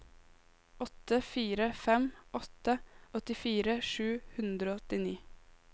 åtte fire fem åtte åttifire sju hundre og åttini